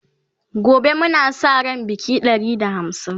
gobe Muna Sa ran Baƙi Ɗari da hamsin